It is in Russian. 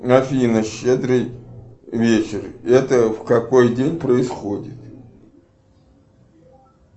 афина щедрый вечер это в какой день происходит